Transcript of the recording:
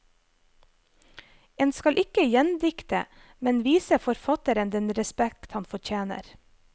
En skal ikke gjendikte, men vise forfatteren den respekt han fortjener.